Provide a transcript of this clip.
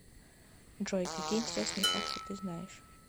джой какие интересные факты ты знаешь